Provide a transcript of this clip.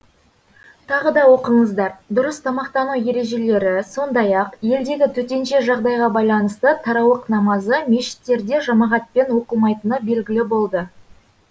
тағы да оқыңыздар дұрыс тамақтану ережелері сондай ақ елдегі төтенше жағдайға байланысты тарауық намазы мешіттерде жамағатпен оқылмайтыны белгілі болды